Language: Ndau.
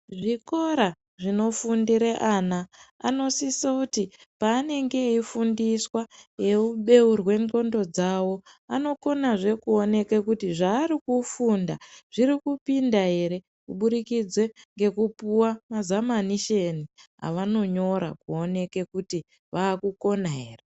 Zvikora zvinofundere ana, anosise kuti ati peanenge eifundiswa, eibeurwe ndxondo dzavo, anokonazve kuonekwa kuti zvaarikufunda zvirikupinda ere kubudikidza ngekupuwa mazamanishoni avanonyora kuona kuti vakukona here.